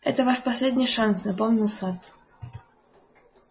это ваш последний шанс напомнил сатт